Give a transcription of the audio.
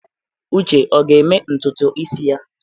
Uche ọ ga-eme ntutu isi ya?